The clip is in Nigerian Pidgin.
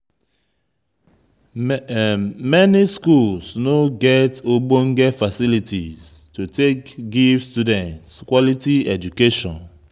Many schools no get ogbonge facilities to take give student quality education